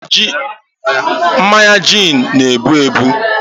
mmanya gin n' ebu ebu